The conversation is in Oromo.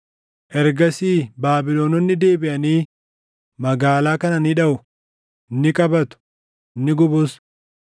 Ergasii Baabilononni deebiʼanii magaalaa kana ni dhaʼu; ni qabatu; ni gubus.’